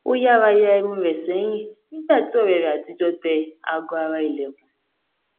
ó yára ya irun rẹ sẹyìn nígbà tí ọrẹ rẹ àtijọ tẹ aago ara ilẹkùn